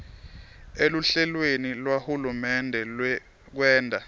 eluhlelweni lwahulumende lwekwenta